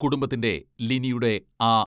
കുടുംബത്തിന്റെ ലിനിയുടെ ആ